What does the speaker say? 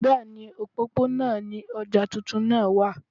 Bẹ́ẹ̀ni, òpópónà ni ọjà tuntun náà wà